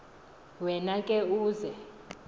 wena ke uza